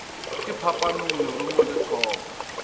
ka phapanong lerumo le thoka